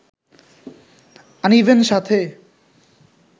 আনিবেন সাথে